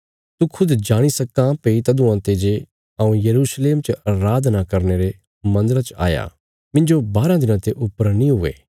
तू खुद जाणी सक्कां भई तदुआं ते जे हऊँ यरूशलेम च अराधना करने रे मन्दरा च आया मिन्जो बाराँ दिनां ते ऊपर नीं हुये